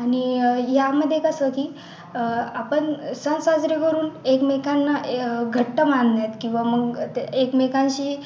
आणि अह यामध्ये कसं की आपण सण साजरे करून एकमेकांना अह घट्ट बांधण्यात किंवा मग एकमेकांशी